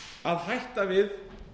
að hætta við